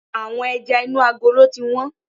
Àwọn ẹja inú agolo ti wón.